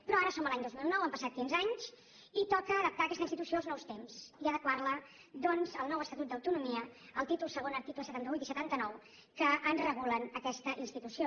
però ara som a l’any dos mil nou han passat quinze anys i toca adaptar aquesta institució als nous temps i adequarla doncs al nou estatut d’autonomia al títol segon articles setanta vuit i setanta nou que regulen aquesta institució